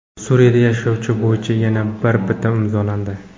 Suriyada yarashuv bo‘yicha yana bir bitim imzolandi.